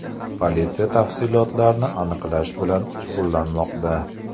Politsiya tafsilotlarni aniqlash bilan shug‘ullanmoqda.